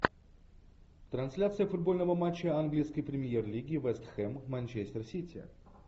трансляция футбольного матча английской премьер лиги вест хэм манчестер сити